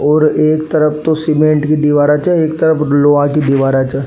और एक तरफ तो सीमेंट की दिवारा छे और एक तरफ लोहे की दिवारा छे।